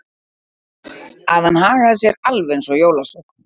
Að hann hagaði sér alveg eins og jólasveinn.